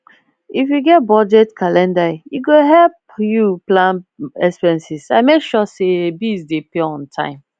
if you get budget calendar e go help you plan expenses and make sure say bills dey pay on time